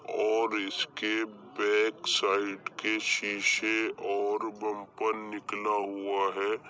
और इसके back side के शीशे और बंपर निकला हुआ है।